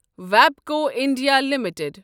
ویبکو India limited